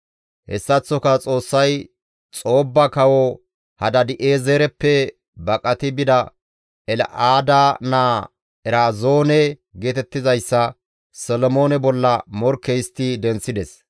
Hessaththoka Xoossay Xoobba kawo Hadaadi7eezereppe baqati bida El7aada naa Erazoone geetettizayssa Solomoone bolla morkke histti denththides.